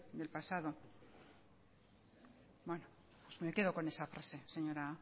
del pasado bueno pues me quedo con esa frase señora